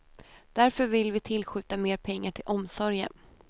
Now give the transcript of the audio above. Därför vill vi tillskjuta mer pengar till omsorgen.